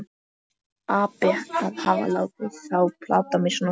Ferlegur api að hafa látið þá plata mig svona.